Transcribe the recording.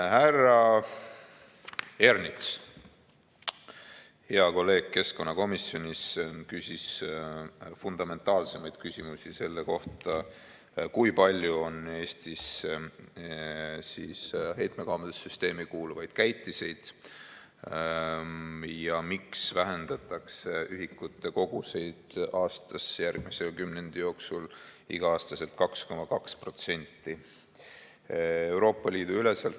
Härra Ernits, hea kolleeg keskkonnakomisjonis, küsis fundamentaalsemaid küsimusi selle kohta, kui palju on Eestis heitmekaubanduse süsteemi kuuluvaid käitiseid ja miks vähendatakse ühikute koguseid aastas järgmise kümnendi jooksul iga-aastaselt 2,2%.